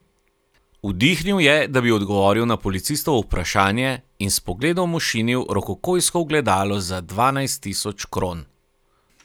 Vdihnil je, da bi odgovoril na policistovo vprašanje, in s pogledom ošinil rokokojsko ogledalo za dvanajst tisoč kron.